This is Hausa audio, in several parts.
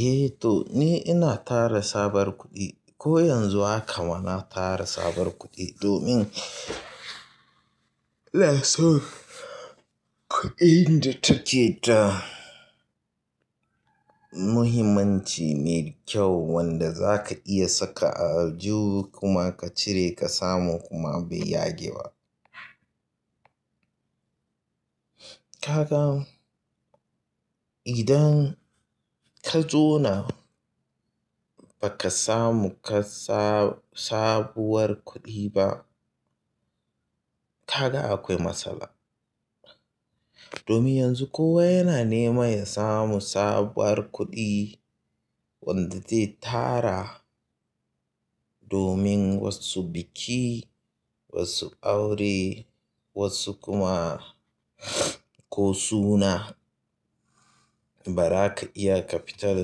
Eh to ni ina tara sabuwar kuɗi. Ko yanzu haka ma na tara sabuwar kuɗi domin inason kuɗin da take da muhimmanci ne kyau wanda za ka iya saka a aljihu kuma ka cire ka samu kuma bai yage ba. Kaga idan ka zauna ba ka samu ka sabuwar kuɗi ba, kaga akwai matsala. Domin yanzu kowa yana nema ya samu sabuwar kuɗi wanda zai tara domin wasu biki, wasu aure, wasu kuma ko suna, ba za ka iya ka fita da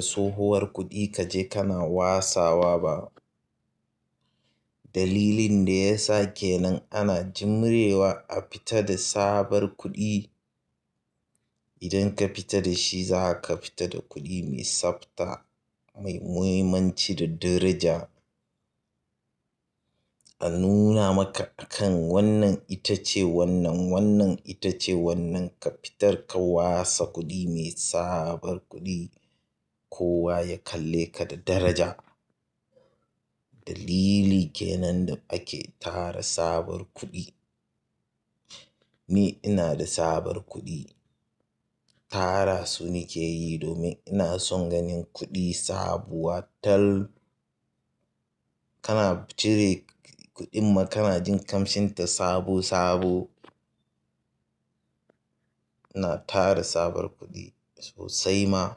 tsohuwar kuɗi ka je kana watsawa ba. Dalilin da ya sa kenan ana jurewa a fita da sabuwar kuɗi. Idan ka fita da shi za ka fita da kuɗi mai tsabta mai muhimmanci da daraja. A nuna maka akan wannan ita ce wannan, wannan ita ce wannan ka fitar ka watsa kuɗi mai sabuwar kuɗi kowa ya kalle ka da daraja. Dalili ke nan da ake tara sabuwar kuɗi. Ni ina da sabar kuɗi. Tara su nike yi domin ina son ganin kuɗi sabuwa tal. Kana cire kuɗin ma kana jin kamshin ta sabo sabo. Na tara sabuwar kuɗi sosai ma.